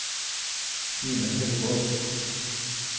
Simen Haukås